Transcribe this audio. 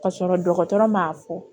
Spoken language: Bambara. Ka sɔrɔ dɔgɔtɔrɔ m'a fɔ